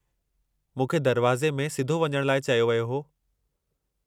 मूंखे दरवाज़े में सिधो वञण लाइ चयो वियो हो।